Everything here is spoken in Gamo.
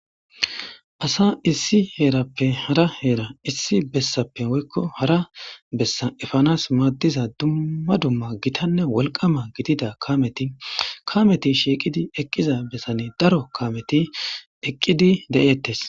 asa issi heerappe hara heera issi bessappe woykko hara bessa efanas maaddiza dumma dumma gitanne wolqama gidida kameti kameti shiiqidi eqqiza bessane daro kameti eqqidi de7ettes